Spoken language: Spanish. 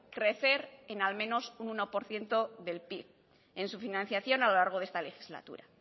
crecer en al menos un uno por ciento del pib en su financiación a lo largo de esta legislatura